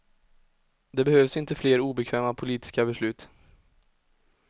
Det behövs inte fler obekväma politiska beslut.